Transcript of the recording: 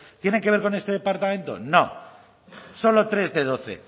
tienen que ver con este departamento no solo tres de doce